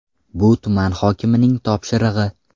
Bu tuman hokimining topshirig‘i.